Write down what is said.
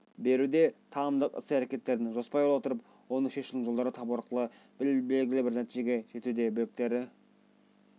беруде танымдық іс-әрекеттерін жоспарлай отырып оны шешудің жолдарын табу арқылы белгілі бір нәтижеге жетуде біліктері